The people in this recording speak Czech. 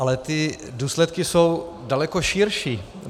Ale ty důsledky jsou daleko širší.